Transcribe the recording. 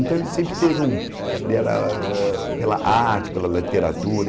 Então, ele sempre teve um... Ele era ah pela arte, pela literatura.